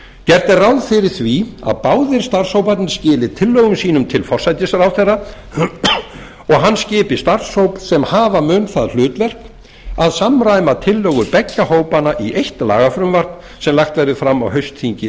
gert er ráð fyrir að báðir starfshóparnir skili tillögum sínum til forsætisráðherra og hann skipi starfshóp sem hafa mun það hlutverk að samræma tillögur beggja hópanna í eitt lagafrumvarp sem lagt verði fram á haustþingi